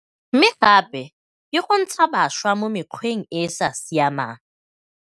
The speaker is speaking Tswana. mme gape ke go ntsha bašwa mo mekgweng e e sa siamang.